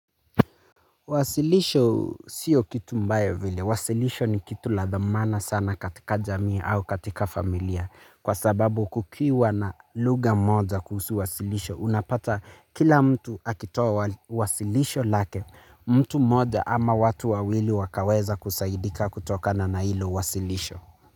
Wasilisho sio kitu mbaya vile. Wasilisho ni kitu la dhamana sana katika jamii au katika familia kwa sababu kukiwa na lugha moja kuhusu wasilisho. Unapata kila mtu akitoa wasilisho lake mtu mmoja ama watu wawili wakaweza kusaidika kutokana na hilo wasilisho.